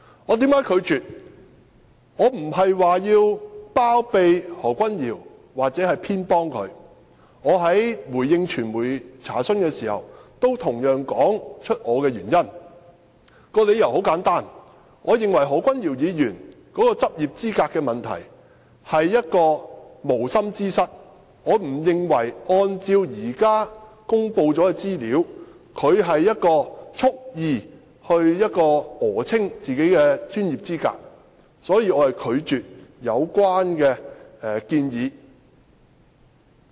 我並非要包庇或偏袒何君堯議員，我在回應傳媒查詢時，同樣說出我的原因，理由很簡單，我認為何君堯議員的執業資格問題是無心之失，我不認為按照現時公布的資料，他有蓄意訛稱自己的專業資格，所以，我拒絕有關的建議。